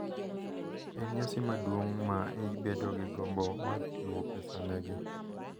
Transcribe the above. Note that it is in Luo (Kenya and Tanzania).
En nyasi maduong’ ma ibedo gi gombo mar chiwo pesa negi.